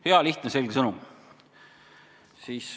Hea, lihtne, selge sõnum.